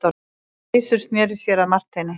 Gizur sneri sér að Marteini.